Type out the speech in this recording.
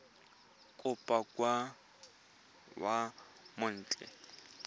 kopo kwa moseja wa mawatle